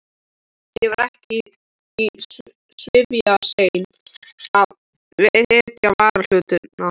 Ég var ekki svifaseinn að vitja varahlutanna.